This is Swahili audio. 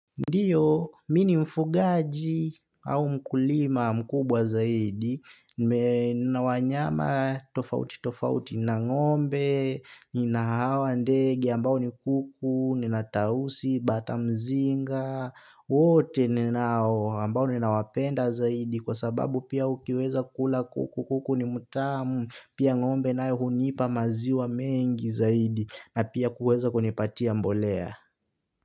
Ndiyo, mi ni mfugaji au mkulima mkubwa zaidi, nina wanyama tofauti tofauti na ngombe, nina hawa ndege ambao ni kuku, nina tausi, batamzinga, wote ninao ambao ni nawapenda zaidi kwa sababu pia ukiweza kula kuku kuku ni mutamu, pia ngombe nae hunipa maziwa mengi zaidi na pia kuweza kunipatia mbolea.